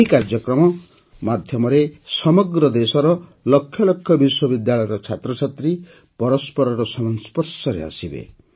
ଏହି କାର୍ଯ୍ୟକ୍ରମ ମାଧ୍ୟମରେ ସମଗ୍ର ଦେଶର ଲକ୍ଷ ଲକ୍ଷ ବିଶ୍ୱବିଦ୍ୟାଳୟର ଛାତ୍ରଛାତ୍ରୀ ପରସ୍ପରର ସଂସ୍ପର୍ଶରେ ଆସିବେ